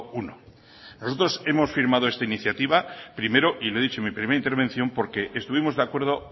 uno nosotros hemos firmado esta iniciativa primero y le he dicho en mi primera intervención porque estuvimos de acuerdo